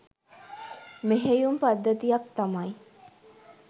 මෙහෙයුම් පද්ධතියක් තමයි